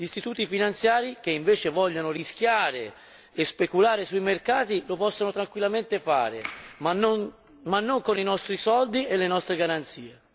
Gli istituti finanziari, che invece vogliono rischiare e speculare sui mercati, lo possono tranquillamente fare, ma non con i nostri soldi e le nostre garanzie.